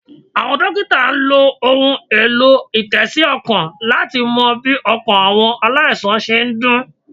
Àwọn Dókítà n lo ohun èlò- ìtésí -ọkàn láti mo bí ọkàn àwọn aláìsàn se n dún